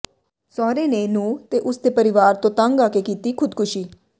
ਸਹੁਰੇ ਨੇ ਨੂੰ ਹ ਤੇ ਉਸ ਦੇ ਪਰਿਵਾਰ ਤੋਂ ਤੰਗ ਆ ਕੇ ਕੀਤੀ ਖੁਦਕੁਸ਼ੀ